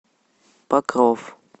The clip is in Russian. покров